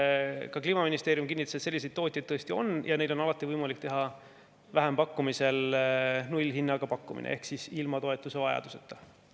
Ka Kliimaministeeriumi kinnitas, et selliseid tootjaid tõesti on ja neil on alati võimalik teha vähempakkumisel nullhinnaga pakkumine ehk siis ilma toetuse vajaduseta.